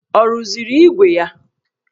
Ọ rụziri ígwè ya?